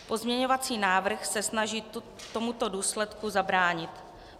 Pozměňovací návrh se snaží tomuto důsledku zabránit.